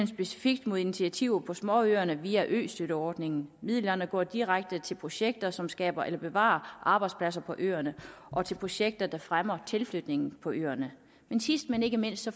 specifikt mod initiativer på småøerne via østøtteordningen midlerne går direkte til projekter som skaber eller bevarer arbejdspladser på øerne og til projekter der fremmer tilflytningen på øerne sidst men ikke mindst